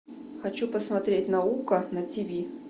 хочу посмотреть наука на тв